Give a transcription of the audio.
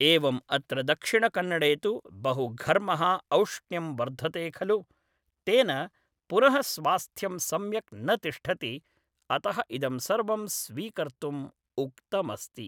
एवम् अत्र दक्षिणकन्नडे तु बहुघर्मः औष्ण्यं वर्धते खलु तेन पुनः स्वास्थ्यं सम्यक् न तिष्ठति अतः इदं सर्वं स्वीकर्तुम् उक्तमस्ति